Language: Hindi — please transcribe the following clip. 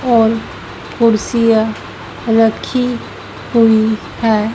और कुर्सियां रखी हुई है।